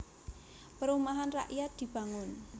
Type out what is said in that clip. Perumahan rakyat dibangun